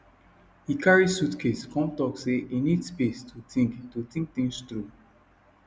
he carry suitcase come talk say he need space to think to think things through